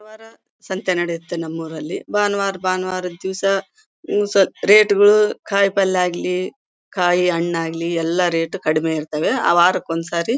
ಇವರ ಸಂತೆ ನಡೆಯುತ್ತೆ ನಮ್ಮೂರಲ್ಲಿ ಬಾನವಾರ ಬಾನವಾರ ದಿವಸ ಇವು ಸ ರೇಟ್ ಗಳು ಕಾಯಿ ಪಲ್ಯ ಆಗ್ಲಿ ಕಾಯಿ ಹಣ್ಣಾಗಲಿ ಎಲ್ಲಾ ರೇಟ್ ಕಡಿಮೆ ಇರತ್ತವೆ ಆ ವಾರಕ್ಕ ಒಂದ್ ಸರಿ.